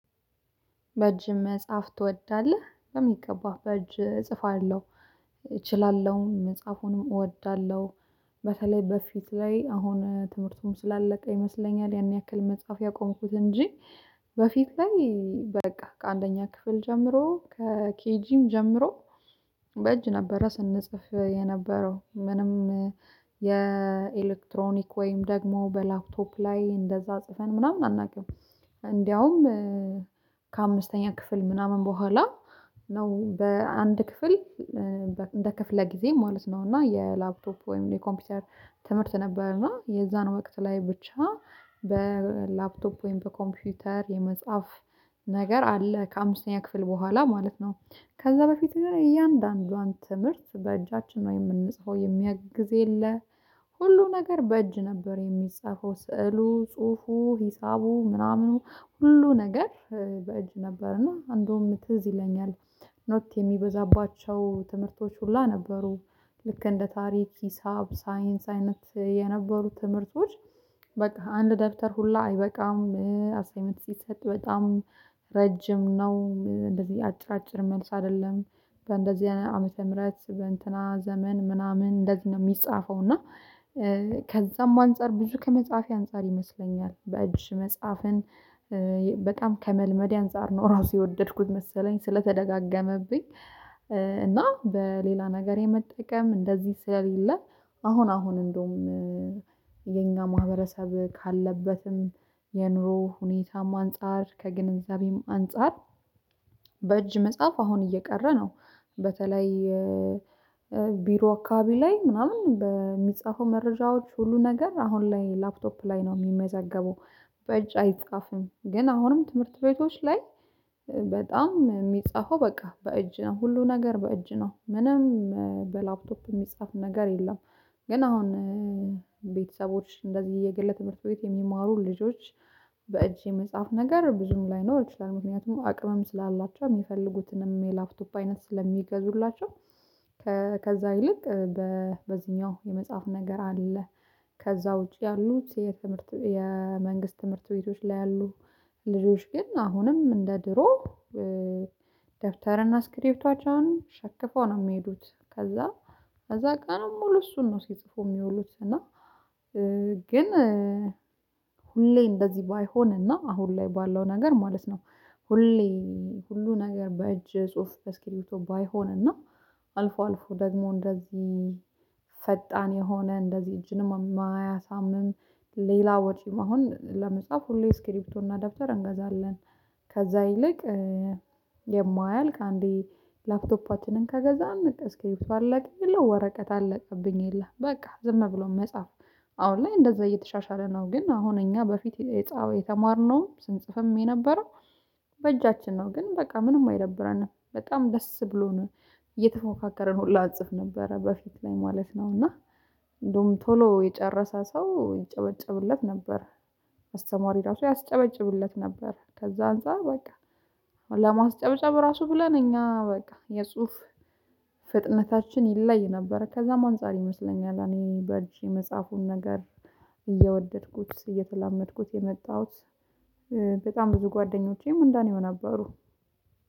በእጅ መጽሐፍ ትወዳለህ? በሚገባ በእጅ እጽፋለሁ። እችላለሁም መጽሐፉንም እወዳለሁ። በተለይ በፊት ላይ አሁን ትምህርቱም ስላለቀ ይመስለኛል ያን ያክል መጽሐፍ ያቆምኩት እንጂ በፊት ላይ በቃ ከአንደኛ ክፍል ጀምሮ ከኬጂም ጀምሮ በእጅ ነበረ ስንጽፍ የነበረው። ምንም የኤሌክትሮኒክ ወይም ደግሞ በላፕቶፕ ላይ እንደዛ ጽፈን ምናምን አናውቅም። እንዲያዉም ከአምስተኛ ክፍል ምናምን በኋላ ነው በአንድ ክፍል እንደ ክፍለ ጊዜ ማለት ነው እና የላፕቶፕ ወይም የኮምፒውተር ትምህርት ነበር እና የዛን ወቅት ላይ ብቻ በላፕቶፕ ወይም በኮምፒውተር የመጻፍ ነገር አለ ከአምስተኛ ክፍል በኋላ ማለት ነው። ከዛ በፊት ግን እያንዳንዷን ትምህርት በእጃችን ነው የምንጽፈው። የሚያግዝ የለ ሁሉ ነገር በእጅ ነበር የሚጻፈው። ስዕሉ ጽሁፉ ሂሳቡ ምናምኑ ሁሉ ነገር በእጅ ነበርና እንደውም ትዝ ይለኛል ኖት የሚበዛባቸው ትምህርቶች ሁላ ነበሩ። ልክ እንደ ታሪክ ሂሳብ ሳይንስ አይነት የነበሩት ትምህርቶች በቃ አንድ ደብተር ሁላ አይበቃም። አሳይንመንት ሲሰጥ በጣም ረጅም ነው። እንደዚህ አጭር አጭር መልስ አይደለም። በእንደዚህ አይነት ዓመተ ምህረት በእንትና ዘመን ምናምን እንደዚህ ነው የሚጻፈው። እና ከዛም አንፃር ብዙ ከመፃፌ አንፃር ይመስለኛል በእጅ መፃፍን በጣም ከመልመዴ አንፃር ነው ራሱ የወደድኩት መሰለኝ ስለተደጋገመብኝ እና በሌላ ነገር የመጠቀም እንደዚህ ስለሌለ አሁን አሁን እንደውም የኛ ማህበረሰብ ካለበትም የኑሮ ሁኔታም አንፃር ከግንዛቤም አንፃር በእጅ መጻፍ አሁን እየቀረ ነው። በተለይ ቢሮ አካባቢ ላይ ምናምን በሚጻፈው መረጃዎች ሁሉ ነገር አሁን ላይ ላፕቶፕ ላይ ነው የሚመዘገበው። በእጅ አይጻፍም። ግን አሁንም ትምህርት ቤቶች ላይ በጣም የሚጻፈው በቃ በእጅ ነው። ሁሉ ነገር በእጅ ነው። ምንም በላፕቶፕ የሚጻፍ ነገር የለም። ግን አሁን ቤተሰቦች እንደዚህ የግል ትምህርት ቤት የሚማሩ ልጆች በእጅ የመጻፍ ነገር ብዙም ላይኖር ይችላል። ምክንያቱም አቅምም ስላላቸው የሚፈልጉትንም የላፕቶፕ አይነት ስለሚገዙላቸው ከዛ ይልቅ በዚህኛው የመጻፍ ነገር አለ ከዛ ውጪ ያሉት የትምህርት የመንግስት ትምህርት ቤቶች ላይ ያሉ ልጆች ግን አሁንም እንደ ድሮ ደብተርና ስክሪፕቷቸውን ሸክፈው ነው ሚሄዱት። ከዛ ከዛ ቀን ሙሉ እሱን ነው ሲጽፉ ሚውሉት እና ግን ሁሌ እንደዚህ ባይሆንና አሁን ላይ ባለው ነገር ማለት ነው። ሁሌ ሁሉ ነገር በእጅ ጽሁፍ በስኪሪፕቶ ባይሆንና እና አልፎ አልፎ ደግሞ እንደዚህ ፈጣን የሆነ እንደዚህ እጅን የማያሳምንም ሌላ ወጪም አሁን ለመጻፍ ሁሌ ስክሪፕቶና ደብተር እንገዛለን ከዛ ይልቅ የማያልቅ አንዴ ላፕቶፓችንን ከገዛን እስኪሪፕቶ አለቀ የለ ወረቀት አለቀብኝ የለም። በቃ ዝም ብሎ መጻፍ። አሁን ላይ እንደዛ እየተሻሻለ ነው። ግን አሁን እኛ በፊት የተማርነውም ስንጽፍም የነበረው በእጃችን ነው። ግን በቃ ምንም አይደብረንም። በጣም ደስ ብሎን እየተፎካከርን ሁላ እንጽፍ ነበረ በፊት ላይ ማለት ነው። እና እንደውም ቶሎ የጨረሰ ሰው ይጨበጨብለት ነበር። አስተማሪ ራሱ ያስጨበጭብለት ነበር። ከዛ አንፃር በቃ ራሱ ብለን እኛ በቃ የጽሁፍ ፍጥነታችን ይለይ ነበር። ከዛም አንፃር ይመስለኛል እኔ በእጅ የመፃፉን ነገር እየወደድኩት እየተላመድኩት የመጣሁት። በጣም ብዙ ጓደኞቼም እንደኔው ነበሩ።